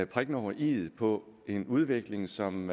prikken over iet på en udvikling som